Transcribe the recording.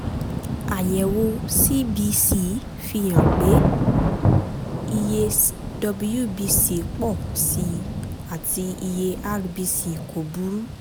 àyẹ̀wò cbc fi hàn pé iye wbc pọ̀ sí i àti iye rbc kò burú